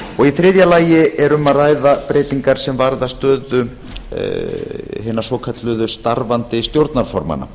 þriðja lagi er um að ræða breytingar sem varða stöðu hinna svokölluðu starfandi stjórnarformanna